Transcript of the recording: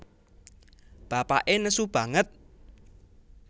Bapaké nesu banget